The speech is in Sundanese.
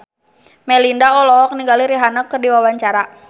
Melinda olohok ningali Rihanna keur diwawancara